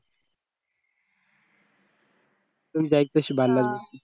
कोण जाईल त्याशी भांडण